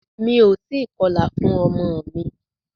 Mí o tí kọlà fún ọmọ mi.